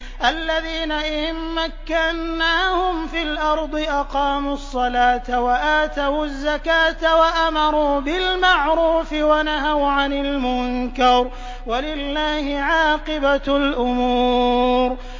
الَّذِينَ إِن مَّكَّنَّاهُمْ فِي الْأَرْضِ أَقَامُوا الصَّلَاةَ وَآتَوُا الزَّكَاةَ وَأَمَرُوا بِالْمَعْرُوفِ وَنَهَوْا عَنِ الْمُنكَرِ ۗ وَلِلَّهِ عَاقِبَةُ الْأُمُورِ